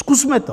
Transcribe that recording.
Zkusme to!